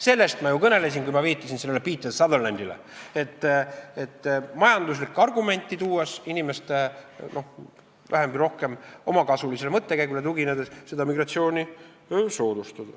Sellest ma ju kõnelesin, kui ma viitasin Peter Sutherlandi sõnadele, et majanduslikku argumenti tuues, inimeste vähem või rohkem omakasulisele mõttekäigule tuginedes soodustatakse migratsiooni.